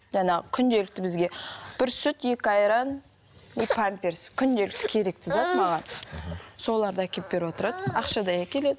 жаңағы күнделікті бізге бір сүт екі айран и памперс күнделікті керекті зат маған соларды әкеліп беріп отырады ақшадай әкеледі